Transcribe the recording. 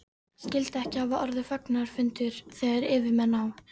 Skyldi ekki hafa orðið fagnaðarfundur, þegar yfirmenn á